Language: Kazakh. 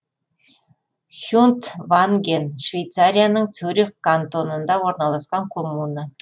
хюнтванген швейцарияның цюрих кантонында орналасқан коммуна